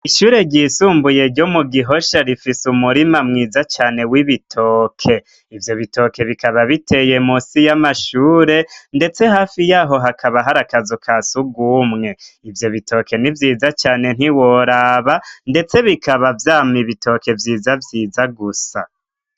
Ishure ryisumbuye ryo mu Gihosha rifise umurima mwiza cane w'ibitoke. Ivyo bitoke bikaba biteye musi y'amashure ndetse hafi y'aho hakaba hari akazu ka sugumwe, ivyo bitoke ni vyiza cane ntiworaba. Ndetse bikaba vyama ibitoke vyiza vyiza gusa.